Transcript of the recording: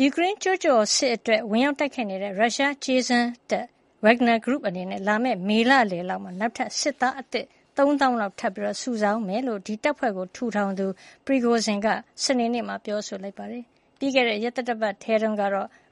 ယူကရိန်းကျူးကျော်စစ်အတွင်း ဝင်ရောက်တိုက်ခိုက်နေတဲ့ ရုရှားကြေးစားတပ် Wagner အနေနဲ့ လာမယ့် မေလလယ်လောက်မှာ နောက်ထပ် စစ်သားသစ် ၃၀,၀၀၀ လောက် ထပ်မံစုဆောင်းသွားမယ်လို့ ဒီတပ်ဖွဲ့ထူထောင်သူ Yevgeny Prigozhin က စနေနေ့မှာ ပြောလိုက်ပါတယ်။ ပြီးခဲ့တဲ့ရက်သတ္တပတ်ထဲတုန်းက